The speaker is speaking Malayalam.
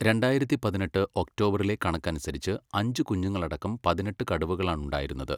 രണ്ടായിരത്തി പതിനെട്ട് ഒക്ടോബറിലെ കണക്കനുസരിച്ച് അഞ്ച് കുഞ്ഞുങ്ങളടക്കം പതിനെട്ട് കടുവകളാണുണ്ടായിരുന്നത്.